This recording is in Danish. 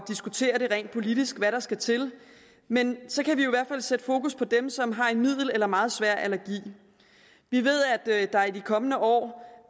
diskutere rent politisk hvad der skal til men så kan vi jo i hvert fald sætte fokus på dem som har en middelsvær eller meget svær allergi vi ved at der i de kommende år